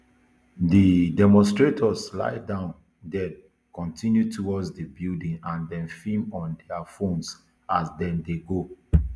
di demonstrators lay down den kontinu towards di building and dem film on dia phones as dem dey go